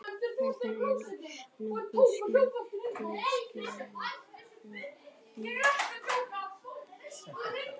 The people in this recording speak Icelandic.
algengara er að nota sykurreyr til sykurframleiðslu en sykurrófur